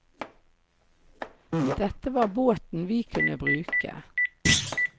Dette var båten vi kunne bruke.